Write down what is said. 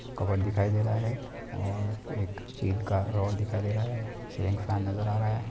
Cupboard दिखाई दे रहा है। और एक स्टील का रोड दिखाई दे रहा है। सीलिंग फैन नजर आ रहा है।